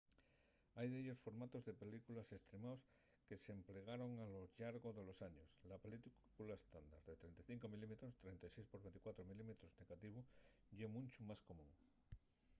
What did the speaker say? hai dellos formatos de película estremaos que s’emplegaron a lo llargo de los años. la película estándar de 35 mm 36 x 24 mm negativu ye muncho más común